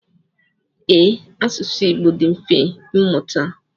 Ee, asụsụ Igbo dị mfe ịmụta.